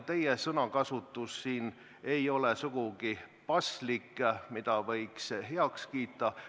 Teie sõnakasutus siin ei olnud sugugi paslik, seda ei või heaks kiita.